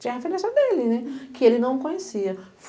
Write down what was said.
Tinha referência dele, né, que ele não conhecia.